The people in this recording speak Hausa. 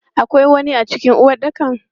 Akwai wani a cikin uwaɗɗakan?